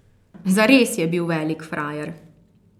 Zares je bil velik frajer!